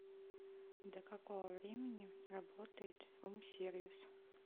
до какого времени работает рум сервис